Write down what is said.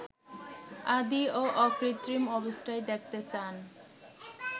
আদি ও অকৃত্রিম অবস্থায় দেখতে চান